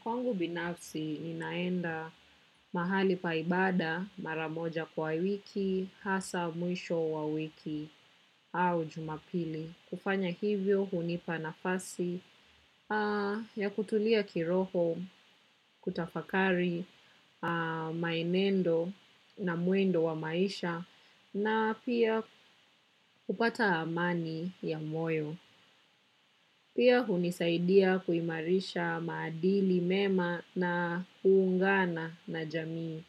Kwangu binafsi ninaenda mahali pa ibaada maramoja kwa wiki, hasa mwisho wa wiki au jumapili. Kufanya hivyo hunipa nafasi ya kutulia kiroho, kutafakari, maenendo na mwendo wa maisha na pia kupata amani ya moyo. Pia hunisaidia kuimarisha maadili mema na kuungana na jamii.